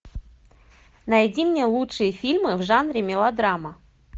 найди мне лучшие фильмы в жанре мелодрама